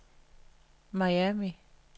Miami